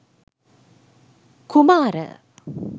kumara